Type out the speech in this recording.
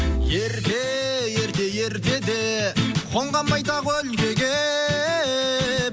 ерте ерте ертеде қонған байтақ өлкеге